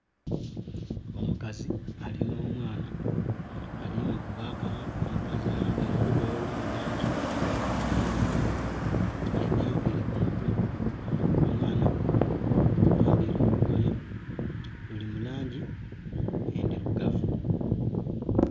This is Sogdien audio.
Omukazi alina omwana ali mukuba akaama. Omukazi ayambaile olugoye oluli mu langi endheru, alina enviiri ku mutwe. Omwana ayambaile olugoye oluli mu langi endhilugavu